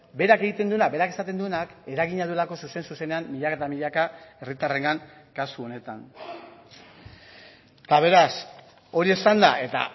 berak egiten duena berak esaten duenak eragina duelako zuzen zuzenean milaka eta milaka herritarrengan kasu honetan eta beraz hori esanda eta